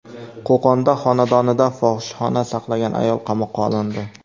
Qo‘qonda xonadonida fohishaxona saqlagan ayol qamoqqa olindi.